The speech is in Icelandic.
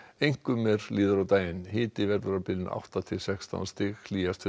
einkum er líður á daginn hiti verður á bilinu átta til sextán stig hlýjast